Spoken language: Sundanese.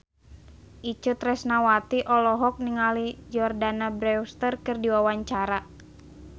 Itje Tresnawati olohok ningali Jordana Brewster keur diwawancara